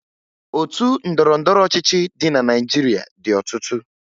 Otu ndọrọndọrọ ọchịchị dị na Naịjirịa dị ọtụtụ